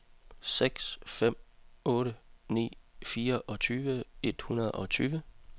seks fem otte ni fireogtyve et hundrede og tyve